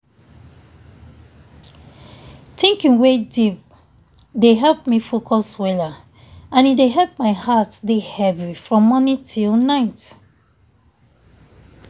thinking wey deep dey help me focus weller and e dey help my heart dey heavy from morning till night.